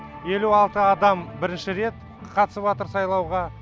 елу алты адам бірінші рет қатысып атыр сайлауға